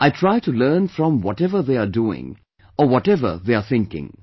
I try to learn from whatever they are doing or whatever they are thinking